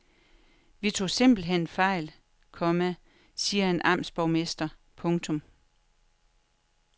Vi tog simpelthen fejl, komma siger en amtsborgmester. punktum